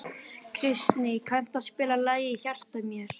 Kristný, kanntu að spila lagið „Í hjarta mér“?